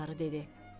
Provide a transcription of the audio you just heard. Qarı dedi: